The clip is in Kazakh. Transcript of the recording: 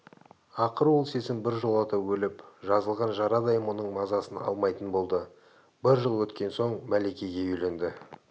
ақыры ол сезім біржолата өліп жазылған жарадай мұның мазасын алмайтын болды бір жыл өткен соң мәликеге үйленді